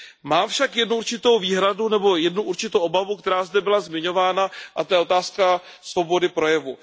Mám však jednu určitou výhradu nebo jednu určitou obavu, která zde byla zmiňována, a to je otázka svobody projevu.